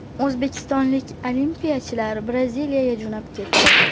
O‘zbekistonlik olimpiyachilar Braziliyaga jo‘nab ketdi.